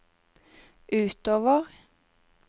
utover